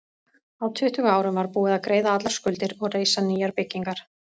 Á tuttugu árum var búið að greiða allar skuldir og reisa nýjar byggingar.